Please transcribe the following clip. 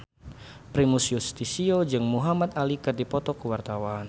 Primus Yustisio jeung Muhamad Ali keur dipoto ku wartawan